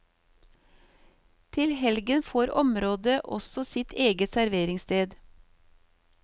Til helgen får området også sitt eget serveringssted.